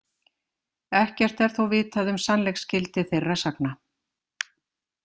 Ekkert er þó vitað um sannleiksgildi þeirra sagna.